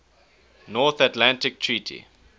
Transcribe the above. north atlantic treaty